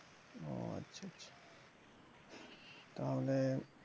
ও আচ্ছা আচ্ছা তাহলে